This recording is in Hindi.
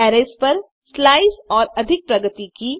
अरैज़ पर स्लाइस और अधिक प्रगति की